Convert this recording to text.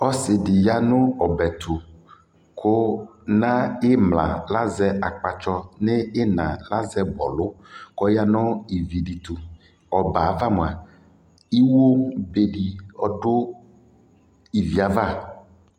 ɔsii di yanʋ ɔbɛ ɛtʋ kʋ nʋ imla azɛ akpatsɔ nʋ inaa azɛ bɔlʋ kʋ ɔya nʋ ivi di tʋ, ɔbɛ aɣa mʋa iwɔ bɛ di ɔdʋ iviɛ aɣa